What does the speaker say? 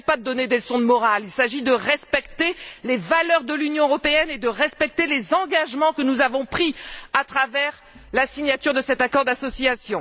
Il ne s'agit pas de donner des leçons de morale, il s'agit de faire respecter les valeurs de l'Union européenne et de respecter les engagements que nous avons pris à travers la signature de cet accord d'association.